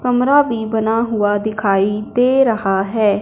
कमरा भी बना हुआ दिखाई दे रहा है।